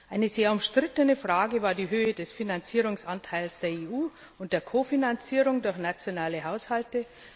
Eine sehr umstrittene Frage war die Höhe des Finanzierungsanteils der EU und der Kofinanzierung durch nationale Haushalte.